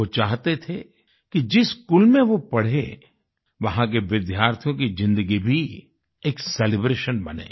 वो चाहते थे कि जिस स्कूल में वो पढ़े वहाँ के विद्यार्थियों की जिंदगी भी एक सेलिब्रेशन बने